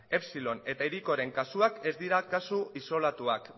epsilon eta hirikoren kasuak ez dira kasu isolatuak